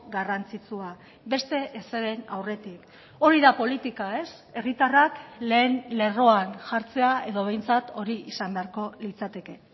garrantzitsua beste ezeren aurretik hori da politika ez herritarrak lehen lerroan jartzea edo behintzat hori izan beharko litzateke